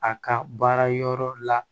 A ka baara yɔrɔ la